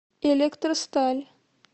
электросталь